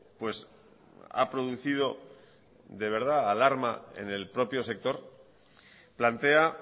pues ha producido de verdad alarma en el propio sector plantea